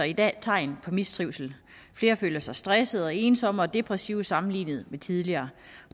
i dag tegn på mistrivsel flere føler sig stressede og ensomme og depressive sammenlignet med tidligere